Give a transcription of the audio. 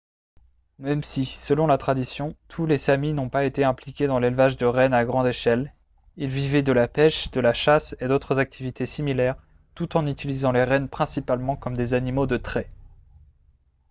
même si selon la tradition tous les samis n'ont pas été impliqués dans l'élevage de rennes à grande échelle ils vivaient de la pêche de la chasse et d'autres activités similaires tout en utilisant les rennes principalement comme des animaux de trait